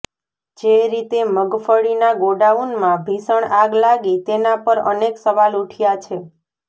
જે રીતે મગફળીના ગોડાઉનમાં ભીષણ આગ લાગી તેના પર અનેક સવાલ ઉઠ્યા છે